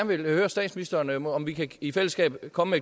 vil høre statsministeren om om vi i fællesskab kan komme